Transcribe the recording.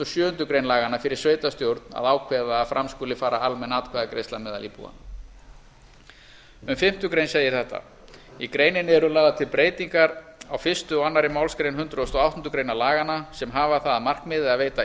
sjöundu grein laganna fyrir sveitarstjórn að ákveða að fram skuli fara almenn atkvæðagreiðsla meðal íbúanna um fimmtu grein segir þetta í greininni eru lagðar til breytingar á fyrsta og annarri málsgrein hundrað og áttundu grein laganna sem hafa það að markmiði að veita